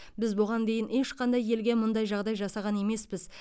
біз бұған дейін ешқандай елге мұндай жағдай жасаған емеспіз